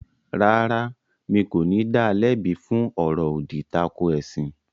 Rárá, mi kò ní da lẹ́bi fún “ ọ̀rọ̀-òdì tako ẹ̀sìn ”.